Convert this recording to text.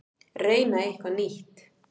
Reyna eitthvað nýtt.